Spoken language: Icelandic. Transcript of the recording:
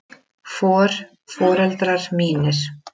For. foreldrar mínir.